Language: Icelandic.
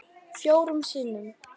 Fjórum sinnum